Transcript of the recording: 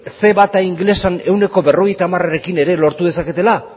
ce bat ingelesean ehuneko berrogeita hamarekin ere lortu dezaketela